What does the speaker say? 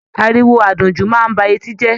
Àríwó àdùnjú máa n ba eti jẹ.